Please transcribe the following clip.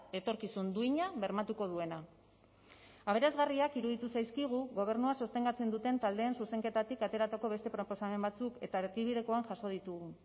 etorkizun duina bermatuko duena aberasgarriak iruditu zaizkigu gobernua sostengatzen duten taldeen zuzenketatik ateratako beste proposamen batzuk eta erdibidekoan jaso ditugu